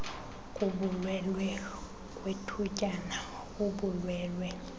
kubulwelwe kwethutyana ubulwelwe